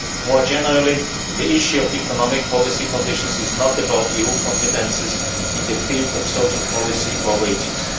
More generally, the issue of economic policy conditions is not about EU competences in the field of social policy or